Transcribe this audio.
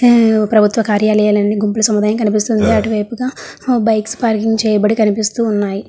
ప్రభుత్వ కార్యాలయాలన్నీ గుంపుల సముదాయం కనిపిస్తుంది అటువైపుగా బైక్స్ పార్కింగ్ చేయబడి కనిపిస్తూ ఉన్నాయి.